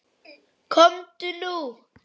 Komdu nú!